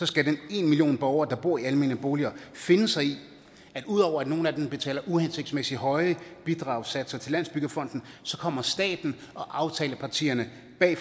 skal den ene million borgere der bor i almene boliger finde sig i at ud over at nogle af dem betaler uhensigtsmæssig høje bidragssatser til landsbyggefonden så kommer staten og aftalepartierne bag